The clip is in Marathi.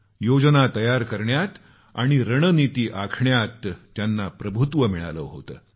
योजना तयार करण्यात आणि रणनीती आखण्यात त्यांना प्रभुत्व मिळाले होते